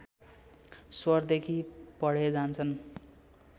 स्वरदेखि पढे जान्छन्